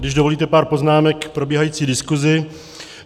Když dovolíte, pár poznámek k probíhající diskuzi.